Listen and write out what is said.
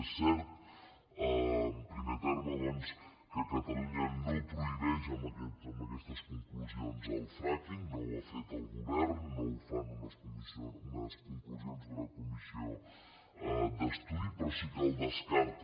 és cert en primer terme doncs que catalunya no prohibeix amb aquestes conclusions el frackingha fet el govern no ho fan unes conclusions d’una comissió d’estudi però sí que el descarta